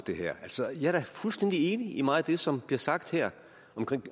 altså jeg er da fuldstændig enig i meget af det som bliver sagt her